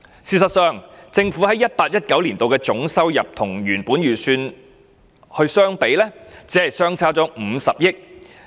事實上，政府在 2018-2019 年度的總收入與原本預算相比，只相差50億元。